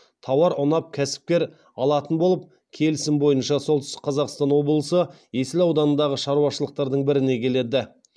тауар ұнап кәсіпкер алатын болып келісім бойынша солтүстік қазақстан облысы есіл ауданындағы шаруашылықтардың біріне келеді